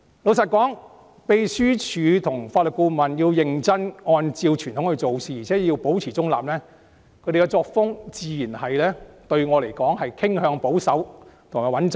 老實說，秘書處職員及法律顧問認真按照傳統做事，而且保持中立，他們的作風對我來說自然是傾向保守及穩妥。